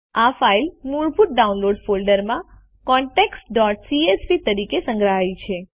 આ ફાઇલ મૂળભૂત ડાઉનલોડ્સ ફોલ્ડરમાં contactsસીએસવી તરીકે સંગ્રહાય છે